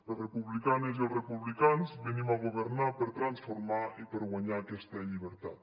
les republicanes i els republicans venim a governar per transformar i per guanyar aquesta llibertat